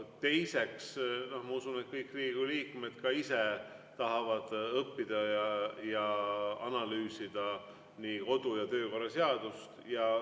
Teiseks, ma usun, et kõik Riigikogu liikmed ka ise tahavad õppida ja analüüsida kodu‑ ja töökorra seadust.